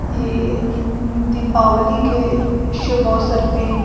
ये दीपावली के शुभ अवसर पे--